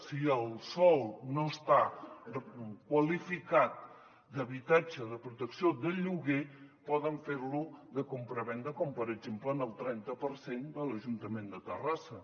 si el sòl no està qualificat d’habitatge de protecció de lloguer poden fer lo de compravenda com per exemple en el trenta per cent de l’ajuntament de terrassa